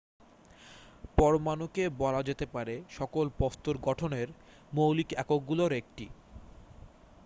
পরমাণুকে বলা যেতে পারে সকল বস্তুর গঠনের মৌলিক এককগুলোর একটি